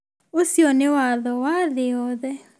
Ũcio nĩ watho wa thĩ yothe